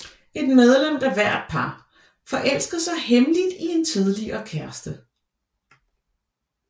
Et medlem af hvert par forelsker sig hemmeligt i en tidligere kæreste